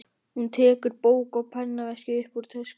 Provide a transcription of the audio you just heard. Hún tekur bók og pennaveskið upp úr töskunni.